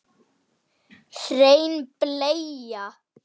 Er enn og verður alltaf.